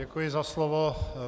Děkuji za slovo.